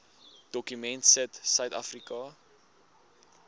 dokument sit suidafrika